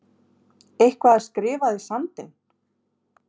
Eitthvað er skrifað í sandinn